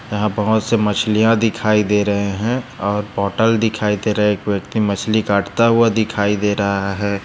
यहाँ बहुत सी मछलिया दिखाई दे रहे है और बोतल दिखाई दे रहे है एक व्यक्ति मछली काटता हुआ दिखाई दे रहा है।